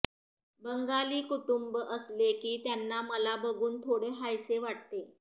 बंगाली कुटुंब असले की त्यांना मला बघून थोडे हायसे वाटते